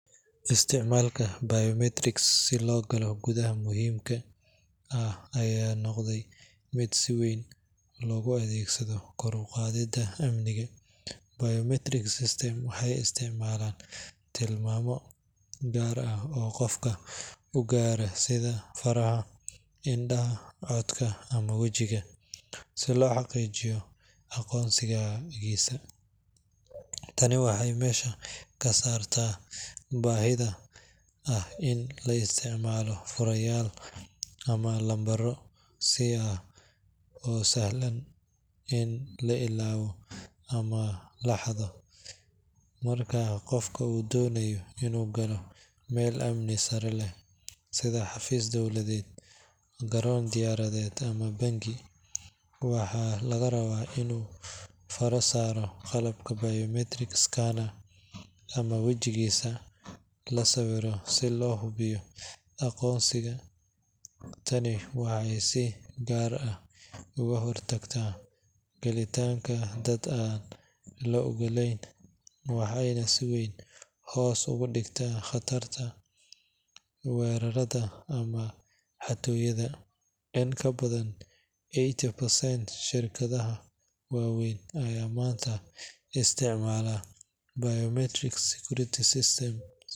Isticmaalka biometrics si loo galo goobaha muhiimka ah ayaa noqday mid si weyn loogu adeegsado kor u qaadidda amniga. Biometric systems waxay isticmaalaan tilmaamo gaar ah oo qofka u gaara sida faraha, indhaha, codka ama wejiga si loo xaqiijiyo aqoonsigiisa. Tani waxay meesha ka saartaa baahida ah in la isticmaalo furayaal ama lambaro sir ah oo sahlan in la ilaawo ama la xado. Marka qofka uu doonayo inuu galo meel amni sare leh sida xafiis dowladeed, garoon diyaaradeed, ama bangi, waxaa laga rabaa inuu faro saaro qalabka biometric scanner ama wejigiisa la sawiro si loo hubiyo aqoonsiga. Tani waxay si gaar ah uga hortagtaa gelitaanka dad aan la oggolayn waxayna si weyn hoos ugu dhigtaa khatarta weerarrada ama xatooyada. In ka badan eighty percent shirkadaha waaweyn ayaa maanta isticmaala biometric security systems.